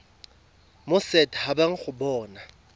mo set habeng go bona